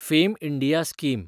fame India scheme